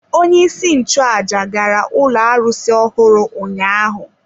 Onyeisi nchụaja gara ụlọ arụsị ọhụrụ ụnyaahụ.